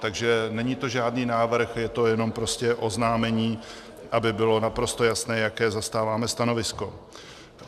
Takže není to žádný návrh, je to jenom prostě oznámení, aby bylo naprosto jasné, jaké zastáváme stanovisko.